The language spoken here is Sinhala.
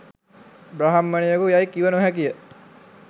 බ්‍රාහ්මණයෙකු යැයි කිව නොහැකිය